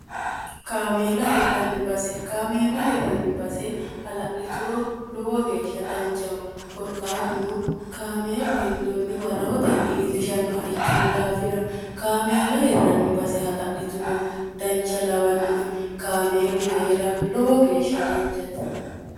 kaameela hirranni base kaameela hirranni base hala'lituro lowo geeshsha danchaho korkaatuno kaameelu hendoonniwa rahotenni iillishannoha ikkino daafira kaameela hirranni base hala'lituro dancha lawannoe kaameelu hee'ra lowo geeshsha dancati